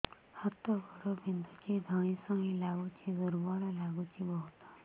ହାତ ଗୋଡ ବିନ୍ଧୁଛି ଧଇଁସଇଁ ଲାଗୁଚି ଦୁର୍ବଳ ଲାଗୁଚି ବହୁତ